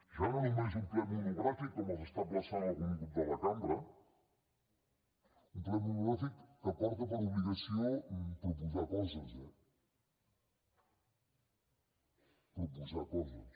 ja no només un ple monogràfic com els emplaça algun grup de la cambra un ple monogràfic que porta per obligació proposar coses eh proposar coses